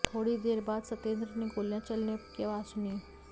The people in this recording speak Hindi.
थोड़ी ही देर बाद सतेंद्र ने गोलियां चलने की आवाज सुनी